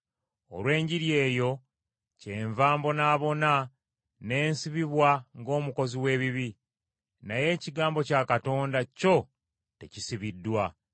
Olw’Enjiri eyo, kyenva mbonaabona n’ensibibwa ng’omukozi w’ebibi. Naye ekigambo kya Katonda kyo tekisibiddwa.